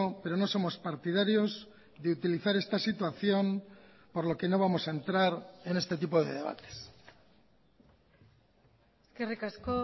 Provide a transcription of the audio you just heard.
pero no somos partidarios de utilizar esta situación por lo que no vamos a entrar en este tipo de debates eskerrik asko